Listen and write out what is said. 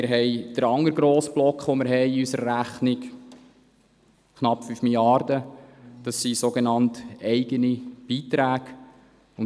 Wir haben den anderen grossen Block in unserer Rechnung mit knapp 5 Mrd. Franken, die sogenannt eigenen Beiträge.